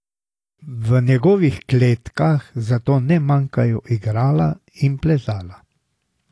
V njegovih kletkah zato ne manjkajo igrala in plezala.